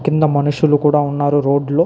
చిన్న మనుషులు కూడా ఉన్నారు రోడ్లు --